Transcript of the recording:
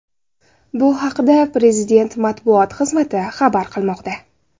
Bu haqda Prezident matbuot xizmati xabar qilmoqda .